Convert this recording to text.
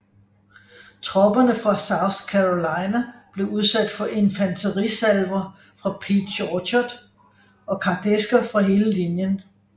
Tropperne fra South Carolina blev udsat for infanterisalver fra Peach Orchard og kardæsker fra hele linjen